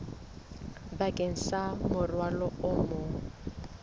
bakeng sa morwalo o mong